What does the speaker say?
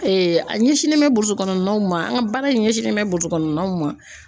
a ɲɛsinnen bɛ burusi kɔnɔnaw ma an ka baara in ɲɛsinlen bɛ burukɔnɔnaw ma.